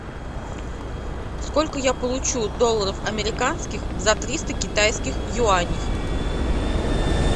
сколько я получу долларов американских за триста китайских юаней